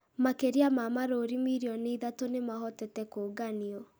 makĩria ma marũũri mirioni ithatũ nĩ mahotete kũũnganio,